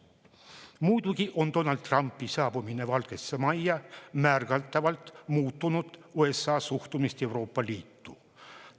Muidugi on Donald Trumpi saabumine Valgesse Majja märgatavalt muutnud USA suhtumist Euroopa Liitu.